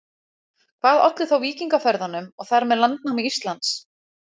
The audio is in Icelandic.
Hvað olli þá víkingaferðunum og þar með landnámi Íslands?